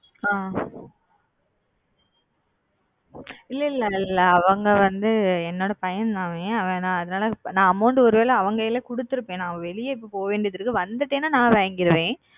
அ இல்ல இல்ல அவங்க வந்து என்னோட பையன் தான் அவன் அதனால amount ஒருவேள அவன்கைல குடுத்துருப்பேன் நா வெளிய இப்போ போக வேண்டி இருக்கு வந்துட்டேனா நா வாங்கிருவேன்.